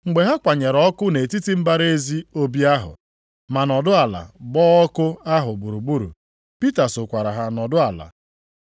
Mgbe ha kwanyere ọkụ nʼetiti mbara ezi obi ahụ, ma nọdụ ala gba ọkụ ahụ gburugburu, Pita sokwara ha nọdụ ala.